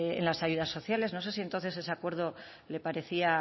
en las ayudas sociales no sé si entonces ese acuerdo le parecía